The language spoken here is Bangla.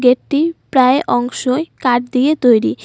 গেট -টির প্রায় অংশই কাঠ দিয়ে তৈরি।